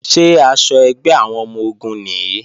Ṣé aṣọ ẹgbẹ́ àwọn ọmọ-ogun nìí?